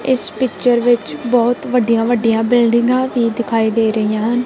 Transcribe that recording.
ਇਸ ਪਿੱਚਰ ਵਿੱਚ ਬਹੁਤ ਵੱਡੀਆਂ ਵੱਡੀਆਂ ਬਿਲਡਿੰਗਾਂ ਵੀ ਦਿਖਾਈ ਦੇ ਰਹੀਆ ਹਨ।